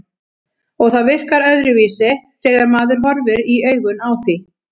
Og það virkar öðruvísi þegar maður horfir í augun á því.